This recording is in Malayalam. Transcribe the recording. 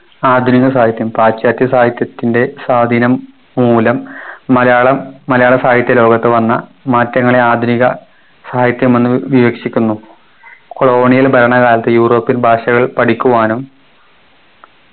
ആധുനിക സാഹിത്യം പാശ്ചാത്യ സാഹിത്യത്തിൻ്റെ സ്വാധീനം മൂലം മലയാളം മലയാള സാഹിത്യലോകത്ത് വന്ന മാറ്റങ്ങളെ ആധുനിക സാഹിത്യമെന്ന് വീക്ഷിക്കുന്നു colonial ഭരണകാലത്ത് european ഭാഷകൾ പഠിക്കുവാനും